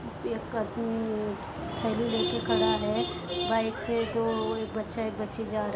Pack करती हुई थैली लेके खड़ा है। बाइक पे गो एक बच्चा एक बच्ची जारे --